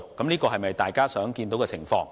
這是否大家想看到的情況呢？